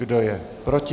Kdo je proti?